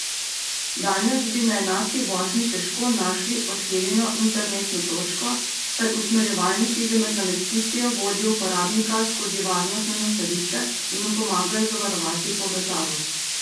Danes bi na enaki vožnji težko našli odklenjeno internetno točko, saj usmerjevalniki že med namestitvijo vodijo uporabnika skozi varnostne nastavitve in mu pomagajo zavarovati povezavo.